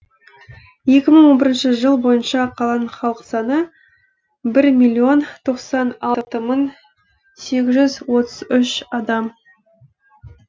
екі мың он бірінші жыл бойынша қаланың халық саны бір миллион тоқсан алты мың сегіз жүз отыз үш адам